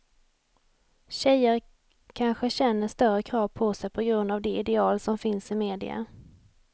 Tjejer kanske känner större krav på sig på grund av de ideal som finns i media.